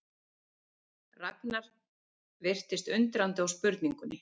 Ragnar virtist undrandi á spurningunni.